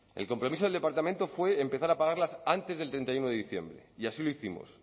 el compromiso del departamento fue empezar a pagarlas antes del treinta y uno de diciembre y así lo hicimos